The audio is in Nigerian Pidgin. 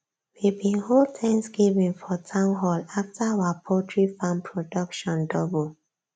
we bin hold thanksgiving for town hall after our poultry farm production double